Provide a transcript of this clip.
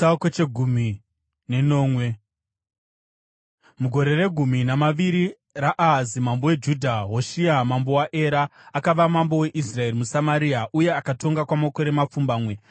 Mugore regumi namaviri raAhazi mambo weJudha, Hoshea mwanakomana waEra akava mambo weIsraeri muSamaria, uye akatonga kwamakore mapfumbamwe.